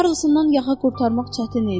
Karlsondan yaxa qurtarmaq çətin idi.